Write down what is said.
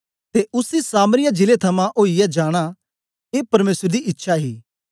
ते उसी सामरिया जिले थमां ओईयै जाना ये परमेसर दी इच्छा ही